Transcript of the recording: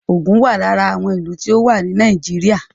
Ògùn wà lára àwọn ìlú tó wà ní Nàìjíríà